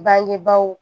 Bangebaaw